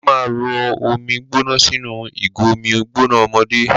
Ṣó ma rọ omi gbóná sínú ìgò omi gbóná ọmọdé?